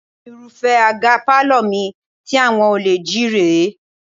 Irúfẹ́ àga pálọ̀ mi tí àwọn olè jí rè é